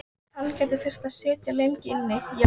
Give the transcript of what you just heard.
Hann gæti þurft að sitja lengi inni, já.